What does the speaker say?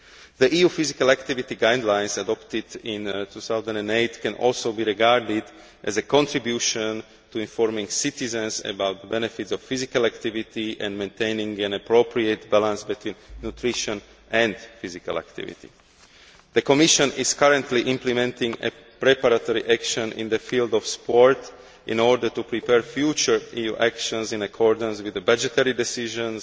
The EU Physical Activity Guidelines adopted in 2008 can also be regarded as a contribution to informing citizens about the benefits of physical activity and maintaining an appropriate balance between nutrition and physical activity. The Commission is currently implementing a preparatory action in the field of sport in order to prepare future EU actions in accordance with the budgetary decisions